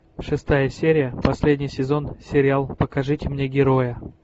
шестая серия последний сезон сериал покажите мне героя